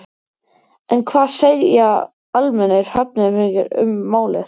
En hvað segja almennir Hafnfirðingar um málið?